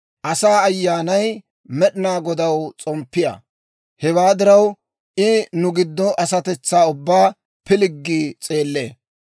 Asaa ayyaanay Med'inaa Godaw s'omppiyaa; hewaa diraw, I nu giddo asatetsaa ubbaa pilggi s'eellee.